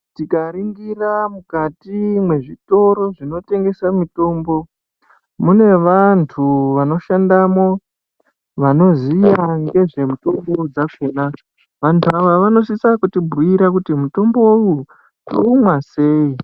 Tikaringira mukati mwezvitoro zvinotengese mitombo mune vantu vanoshandamo vanoziya nezvemitombo yakona vantu ava vanosisa kutibhuyira kuti mutombo uyu toumwa sei.